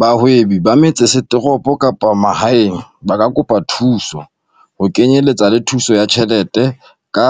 Bahwebi ba metsesetoropo kapa ba mahaeng ba ka kopa thuso, ho kenyeletsa le thuso ya tjhelete, ka